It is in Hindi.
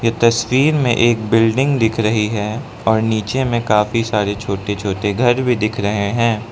तस्वीर में एक बिल्डिंग दिख रही है और नीचे में काफी सारे छोटे छोटे घर भी दिख रहे हैं।